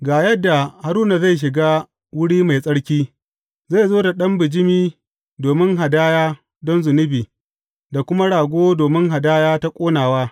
Ga yadda Haruna zai shiga wuri mai tsarki, zai zo da ɗan bijimi domin hadaya don zunubi da kuma rago domin hadaya ta ƙonawa.